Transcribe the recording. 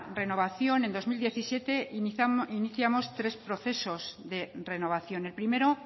renovación en dos mil diecisiete iniciamos tres procesos de renovación el primero